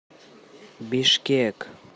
бишкек